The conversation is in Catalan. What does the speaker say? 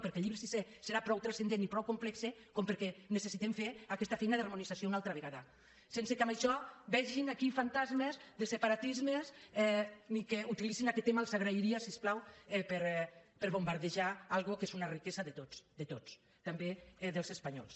perquè el llibre sisè serà prou transcendent i prou complex perquè necessitem fer aquesta feina d’harmonització una altra vegada sense que en això hi vegin aquí fantasmes de separatismes ni que utilitzin aquest tema els ho agrairia si us plau per bombardejar una cosa que és una riquesa de tots de tots també dels espanyols